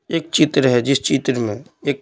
एक चित्र है जिस चित्र में एक--